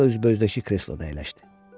O, üzbəüzdəki kresloda əyləşdi.